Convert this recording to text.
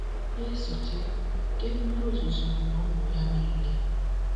Na-esote, oke mmiri ozuzo gburu ụmụ ya niile.